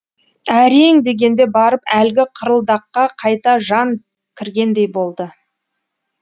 әрең дегенде барып әлгі қырылдаққа қайта жан кіргендей болды